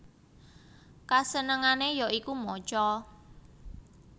Kasenengane ya iku maca